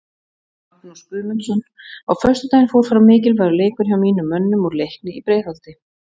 Magnús Guðmundsson Á föstudaginn fór fram mikilvægur leikur hjá mínum mönnum úr Leikni í Breiðholti.